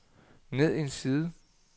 ned en side